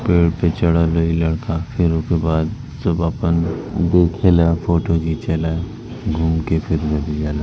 पेड़ पे चडल ह इ लड़का फिर उके बाद सुबह पन फोटो खिचल अ घूमके फिर नदी अ ल--